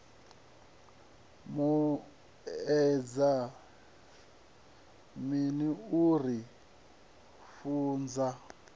vhuedza mini u ri funza